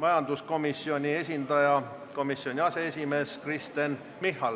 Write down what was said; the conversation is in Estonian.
majanduskomisjoni esindaja, komisjoni aseesimehe Kristen Michali.